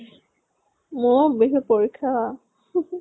মোৰ বিহুত পৰীক্ষা